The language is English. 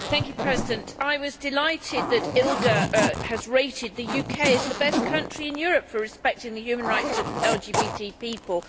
Madam President, I was delighted that ILGA has rated the UK as the best country in Europe for respecting the human rights of LGBT people.